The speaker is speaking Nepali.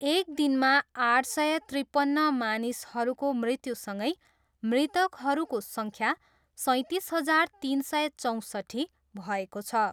एक दिनमा आठ सय त्रिपन्न मानिसहरूको मृत्युसँगै मृतकहरूको सङ्ख्या सैँतिस हजार, तिन सय चौँसट्ठी भएको छ।